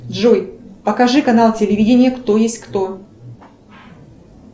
джой покажи канал телевидения кто есть кто